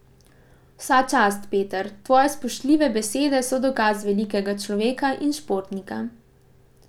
Vsa čast, Peter, tvoje spoštljive besede so dokaz velikega človeka in športnika.